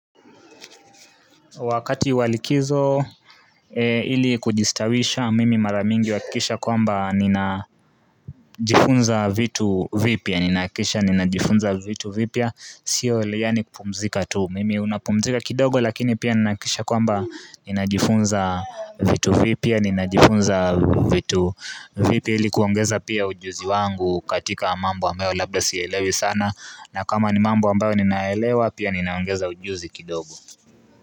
Wakati walikizo ili kujistawisha mimi maramingi uhakikisha kwamba ninajifunza vitu vipya Ninahakikisha ninajifunza vitu vipya Sio ile yani kupumzika tu Mimi unapumzika kidogo lakini pia ninajifunza vitu vipya Ninajifunza vitu vipya ili kuongeza pia ujuzi wangu katika mambo ambayo labda siyaelewi sana na kama ni mambo ambayo ninaelewa pia ninaongeza ujuzi kidogo.